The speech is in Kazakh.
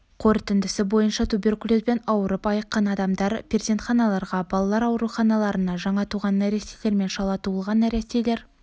қорытындысы бойынша туберкулезбен ауырып айыққан адамдар перзентханаларға балалар ауруханаларына жаңа туған нәрестелер мен шала туған нәрестелер